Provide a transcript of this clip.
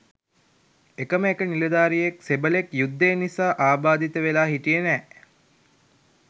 එකම එක නිලධාරියෙක් සෙබළෙක් යුද්ධය නිසා ආබාධිත වෙලා හිටියේ නෑ